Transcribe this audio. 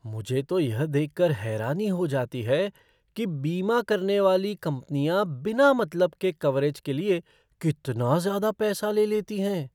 मुझे तो यह देखकर हैरानी हो जाती है कि बीमा करने वाली कंपनियाँ बिना मतलब के कवरेज के लिए कितना ज़्यादा पैसा ले लेती हैं।